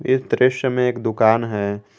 इस दृश्य में एक दुकान है।